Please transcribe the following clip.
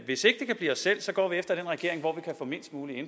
hvis ikke det kan blive os selv går vi efter den regering hvor vi kan få mest mulig